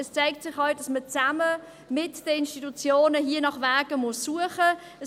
Es zeigt sich auch, dass man zusammen mit den Institutionen nach Wegen suchen muss.